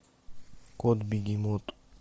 кот бегемот